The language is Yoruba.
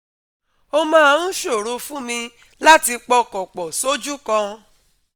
ó máa ń ṣòro fún mi láti pọkàn pọ̀ soju kan